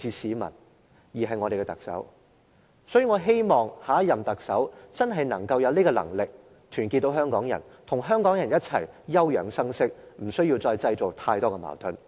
所以，我希望下一任特首真正有能力團結香港人，與香港人一起休養生息，不要再製造太多矛盾。